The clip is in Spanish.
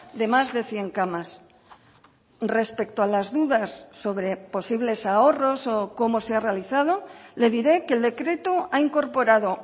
de más de cien camas respecto a las dudas sobre posibles ahorros o cómo se ha realizado le diré que el decreto ha incorporado